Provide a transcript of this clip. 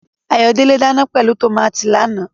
Ayodele ń dana pẹ̀lú tòmátì lánàá.